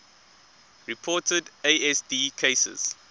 reported asd cases